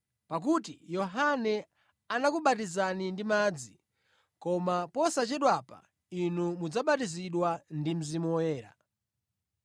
Pakuti Yohane anakubatizani ndi madzi, koma posachedwapa inu mudzabatizidwa ndi Mzimu Woyera.”